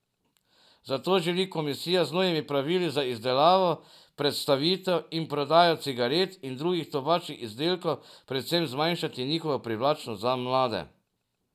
Zato želi komisija z novimi pravili za izdelavo, predstavitev in prodajo cigaret in drugih tobačnih izdelkov predvsem zmanjšati njihovo privlačnost za mlade.